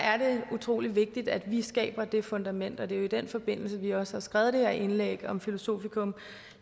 utrolig vigtigt at vi skaber det fundament og det er jo i den forbindelse vi også har skrevet det her indlæg om filosofikum